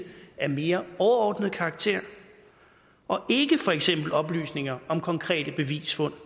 af mere overordnet karakter og for eksempel ikke oplysninger om konkrete bevisfund